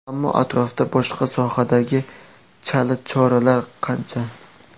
Ammo atrofda boshqa sohalardagi chala choralar qancha?